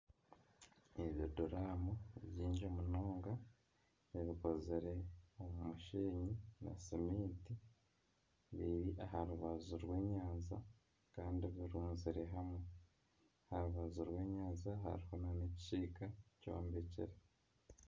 Ebiduraamu bingi munonga ebikozire omu mushenyi na seminti biri aha rubaju rw'enyanja kandi birunzire hamwe. Aha rubaju rw'enyanja hariho nana ekisiika kyombekire.